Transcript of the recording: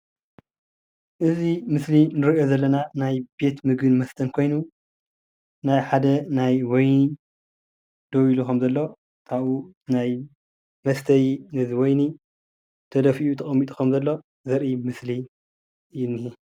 እዚ ምስሊ እንሪኦ ዘለና ናይ ቤት ምግብን መስተን ኮይኑ ናይ ሓደ ናይ ወይኒ ደው ኢሉ ከም ዘሎ ካቡኡ ናይ መስተዪ ወይኒ ተደፊኡ ተቀሚጡ ከም ዘሎ ዘርኢ ምስሊ እዪ እኒሀ።